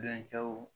Bɛncɛw